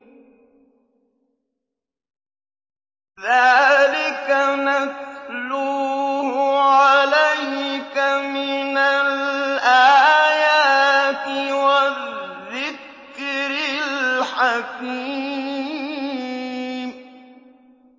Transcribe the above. ذَٰلِكَ نَتْلُوهُ عَلَيْكَ مِنَ الْآيَاتِ وَالذِّكْرِ الْحَكِيمِ